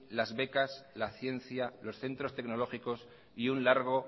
las becas la ciencia los centros tecnológicos y un largo